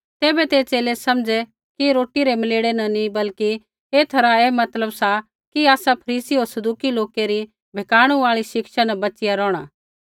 तैबै ते च़ेले समझ़ै कि रोटी रै मलेड़े न नी बल्कि एथा रा ऐ मतलब सा कि आसा फरीसी होर सदूकी लोकै री बहकाणू आई शिक्षा न बच़िया रौहणा